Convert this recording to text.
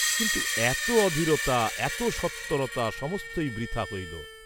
কিন্তু এত অধীরতা এত সত্বরতা সমস্তই বৃথা হইল।